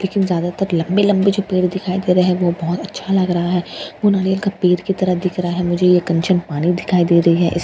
लेकिन ज्यादातर लंबे लंबे जो पेड़ दिखाई दे रहे हैं वो बहुत अच्छा लग रहा है पूरा एक पेड़ की तरह दिख रहा है मुझे एक कंचन पानी दिखाई दे रही है इसलिए --